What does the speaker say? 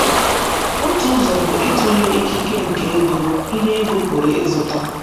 Otu ụzọ bụ ịtụle ikike nke ego, ihe ego pụrụ ịzụta.